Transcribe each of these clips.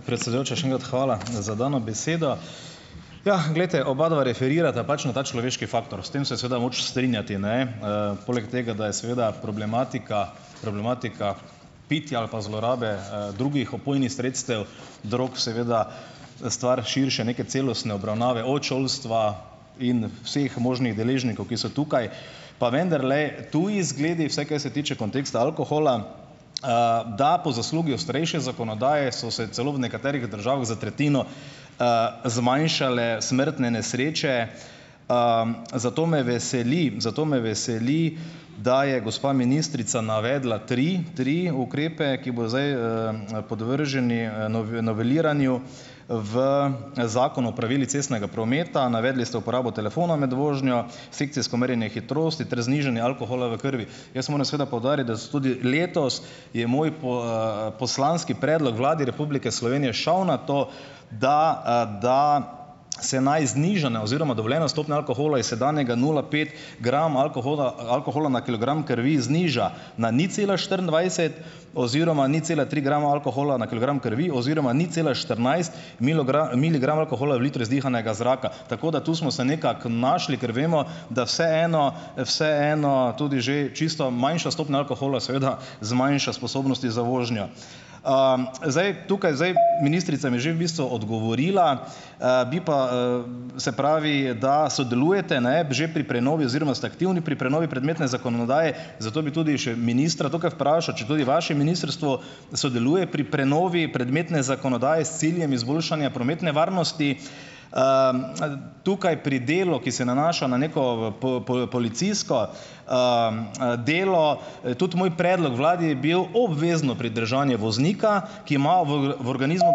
Predsedujoča, še enkrat hvala za dano besedo. Jah, glejte, obadva referirata pač na ta človeški faktor. S tem se je seveda moč strinjati, ne? Poleg tega, da je seveda problematika problematika pitja ali pa zlorabe, drugih opojnih sredstev, drog, seveda stvar širše, neke celostne obravnave, od šolstva in vseh možnih deležnikov, ki so tukaj pa vendarle, tudi zgledi, vse, kar se tiče konteksta alkohola, da po zaslugi starejše zakonodaje so se celo v nekaterih državah za tretjino zmanjšale smrtne nesreče. Zato me veseli, zato me veseli, da je gospa ministrica navedla tri tri ukrepe, ki bodo zdaj podvrženi noveliranju v Zakonu o pravilih cestnega prometa. Navedli ste uporabo telefona med vožnjo, sekcijsko merjenje hitrosti ter znižanje alkohola v krvi. Jaz moram seveda poudariti, da so tudi letos, je moj poslanski predlog Vladi Republike Slovenije šel na to, da da se naj znižane oziroma dovoljena stopnja alkohola iz sedanjega nula pet grama alkohola alkohola na kilogram krvi, zniža na nič cela štiriindvajset oziroma nič cela tri grama alkohola na kilogram krvi oziroma nič cela štirinajst miligrama alkohola v litru izdihanega zraka. Tako da tu smo se nekako našli, ker vemo, da vseeno vseeno tudi že čisto manjša stopnja alkohola seveda zmanjša sposobnosti za vožnjo. Zdaj, tukaj zdaj, ministrica mi je že v bistvu odgovorila, bi pa, se pravi, da sodelujete, ne, že pri prenovi oziroma ste aktivni pri prenovi prometne zakonodaje, zato bi tudi še ministra tukaj vprašal, če tudi vaše ministrstvo sodeluje pri prenovi prometne zakonodaje, s ciljem izboljšanja prometne varnosti, tukaj pri delu, ki se nanaša na neko policijsko delo, tudi moj predlog vladi je bil obvezno pridržanje voznika, ki ima v v organizmu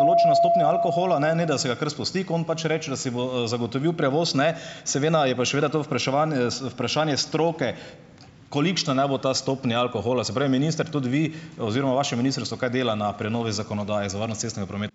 določeno stopnjo alkohola, ne, ne da se ga kar spusti, ko on pač reče, da si bo, zagotovil prevoz, ne, seveda je pa seveda to vpraševanje, vprašanje stroke, kolikšna naj bo ta stopnja alkohola. Se pravi, minister, tudi vi oziroma vaše ministrstvo, kaj dela na prenovi zakonodaje za varnost cestnega ...